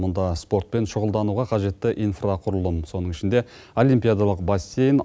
мұнда спортпен шұғылдануға қажетті инфрақұрылым сонын ішінде олимпиадалық бассейн